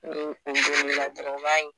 Ni o gunn'e la dɔrɔn o b'a ye